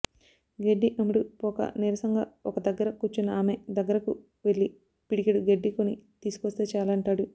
గడ్డి అమ్ముడుపోక నీరసంగా ఒక దగ్గర కూర్చున్న ఆమె దగ్గరకు వెళ్లి పిడికెడు గడ్డి కొని తీసుకొస్తే చాలంటాడు